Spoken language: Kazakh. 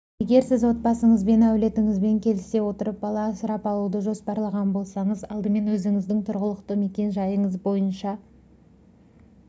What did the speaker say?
егер сіз отбасыңызбен әулетіңізбен келісе отырып бала асырап алуды жоспарлаған болсаңыз алдымен өзіңіздің тұрғылықты мекен-жайыңыз бойынша